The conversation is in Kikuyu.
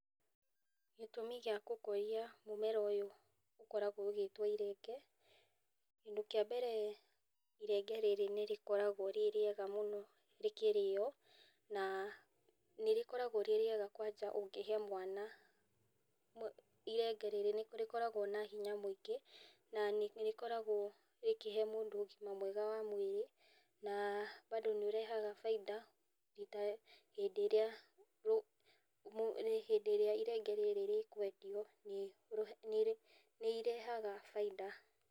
Gĩtũmi gĩa gũkũria mũmera ũyũ, ũkoragwo ũgĩtwo irenge, kĩndũ kĩa mbere irenge rĩrĩ nĩrĩkoragwo rĩ rĩega mũno rĩkĩrĩo, na nĩrĩkoragwo rĩ rĩega mũno kwanja ũngĩrehe mwana , irenge rĩrĩ nĩrĩkoragwo na hinya na nĩrĩkoragwo rĩkĩhe mũndũ ũgima mwega wa mwĩrĩ, na bado nĩrĩrehaga baida hĩndĩ ĩrĩa mũ , hĩndĩ ĩrĩa irenge rĩrĩ rĩkwendio , nĩrĩ rehaga baida.